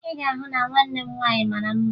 Ị ga-ahụ na nwanne m nwaanyị mara mma